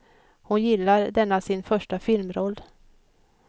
Hon gillar denna sin första filmroll.